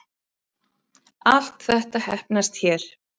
Allt þetta heppnast hér